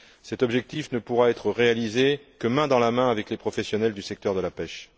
Cet objectif ne pourra être réalisé que main dans la main avec les professionnels du secteur de la pêche.